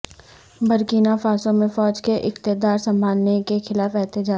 Burkina Faso میں فوج کے اقتدار سنبھالنے کے خلاف احتجاج